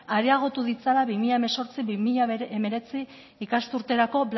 areagotu ditzala bi mila hemezortzi bi mila hemeretzi ikasturterako